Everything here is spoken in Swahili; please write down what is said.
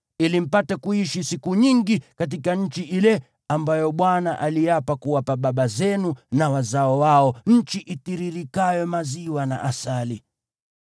ili mpate kuishi siku nyingi katika nchi ile ambayo Bwana aliapa kuwapa baba zenu na wazao wao, nchi itiririkayo maziwa na asali.